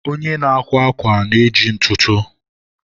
onye na-akwa akwa na-eji ntụtụ.